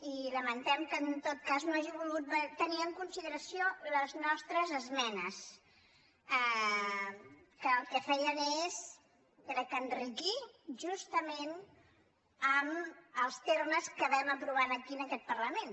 i lamentem que en tot cas no hagi volgut tenir en consideració les nos·tres esmenes que el que feien és crec que enriquir justament els termes que vam aprovar aquí en aquest parlament